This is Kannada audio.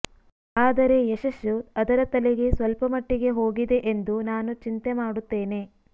ಆದರೆ ಯಶಸ್ಸು ಅದರ ತಲೆಗೆ ಸ್ವಲ್ಪಮಟ್ಟಿಗೆ ಹೋಗಿದೆ ಎಂದು ನಾನು ಚಿಂತೆ ಮಾಡುತ್ತೇನೆ